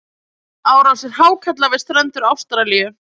árásir hákarla við strendur ástralíu